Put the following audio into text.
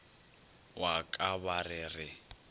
wa ka ba re re